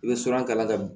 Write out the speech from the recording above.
I bɛ siran kalan kalan ka